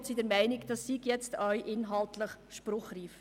Wir sind der Meinung, dies sei nun auch inhaltlich spruchreif.